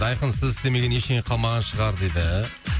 айқын сіз істемеген ештеңе қалмаған шығар дейді